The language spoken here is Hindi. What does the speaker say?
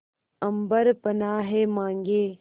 अम्बर पनाहे मांगे